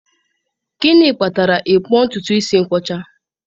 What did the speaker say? Gịnị kpatara ịkpụ ntutu isi nkwọcha?